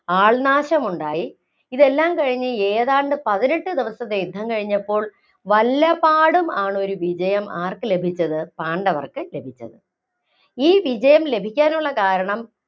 ആള്‍നാശമുണ്ടായി. ഇതെല്ലാം കഴിഞ്ഞു ഏതാണ്ട് പതിനെട്ട് ദിവസത്തെ യുദ്ധം കഴിഞ്ഞപ്പോള്‍ വല്ലപാടും ആണ് ഒരു വിജയം ആര്‍ക്ക് ലഭിച്ചത്? പാണ്ഡവര്‍ക്ക് ലഭിച്ചത്. ഈ വിജയം ലഭിക്കാനുള്ള കാരണം